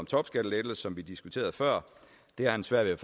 topskattelettelser som vi diskuterede før har han svært ved